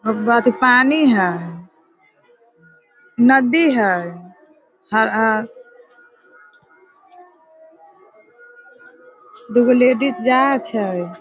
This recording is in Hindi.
एक बाल्टी पानी है नदी है। अ दुगो लेडीज जाए छे।